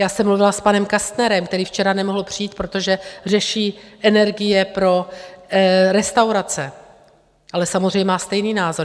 Já jsem mluvila s panem Kastnerem, který včera nemohl přijít, protože řeší energie pro restaurace, ale samozřejmě má stejný názor.